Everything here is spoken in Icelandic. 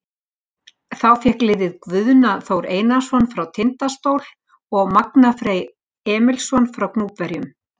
Þá fékk liðið Guðna Þór Einarsson frá Tindastóll og Magna Freyr Emilsson frá Gnúpverjum.